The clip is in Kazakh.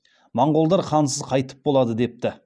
моңғолдар хансыз қайтіп болады депті